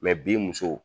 bi musow